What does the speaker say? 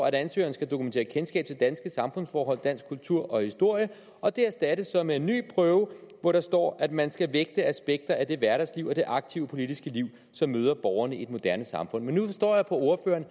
at ansøgeren skal dokumentere kendskab til danske samfundsforhold dansk kultur og historie og det erstattes så med en ny prøve hvor der står at man skal vægte aspekter af det hverdagsliv og det aktive politiske liv som møder borgerne i et moderne samfund men nu forstår jeg på